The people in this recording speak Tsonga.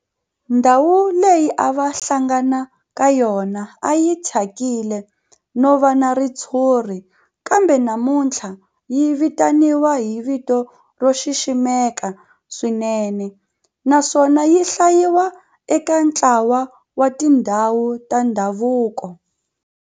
Ndhawu leyi a va hlangana ka yona a yi thyakile no va na ritshuri kambe namuntlha yi vitaniwa hi vito ro xiximeka swinene naswona yi hlayiwa eka ntlawa wa tindhawu ta ndhavuko.